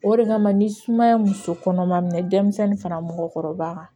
O de kama ni sumaya ye muso kɔnɔma minɛ denmisɛnnin fara mɔgɔkɔrɔba kan